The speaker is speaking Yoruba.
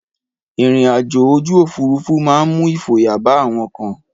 Ìrìn àjò ojú òfúrufú máa ń mú ìfòyà bá àwọn kan.